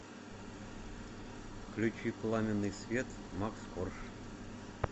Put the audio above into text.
включи пламенный свет макс корж